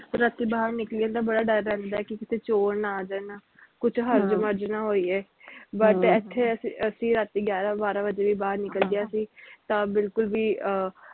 ਰਾਤੀ ਬਾਹਰ ਨਿਕਲਣ ਦਾ ਬੜਾ ਡਰ ਰਹਿੰਦਾ ਕੀ ਕਿਤੇ ਚੋਰ ਨਾ ਆ ਜਾਣ ਕੁਛ ਹੱਜ ਮਜ ਨਾ ਹੋ ਜਾਈਏ but ਇਥੇ ਅਸੀਂ ਅਸੀਂ ਰਾਤੀ ਗਿਆਰਾਂ ਬਾਰਾਂ ਵਜੇ ਵੀ ਬਾਹਰ ਨਿਕਲ ਜਾ ਅਸੀ ਤਾ ਬਿਲਕੁਲ ਵੀ ਆਹ